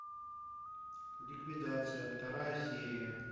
ликвидация вторая серия